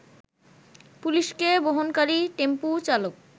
পুলিশকে বহনকারী টেম্পু চালক